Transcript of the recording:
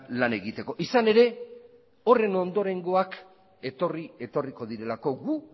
lan egiteko izan ere horren ondorengoak etorri etorriko direlako gu